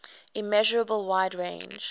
immeasurable wide range